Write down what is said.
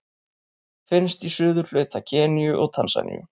Finnst í suðurhluta Keníu og Tansaníu.